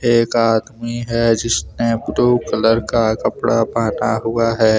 एक आदमी है जिसने ब्ल्यू कलर का कपड़ा पहना हुआ है।